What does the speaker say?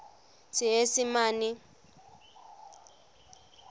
seesimane